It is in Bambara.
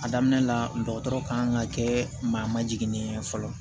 A daminɛ la dɔgɔtɔrɔ ka kan ka kɛ maa ma jiginnen fɔlɔ